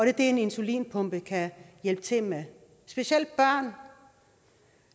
er det en insulinpumpe kan hjælpe til med specielt børn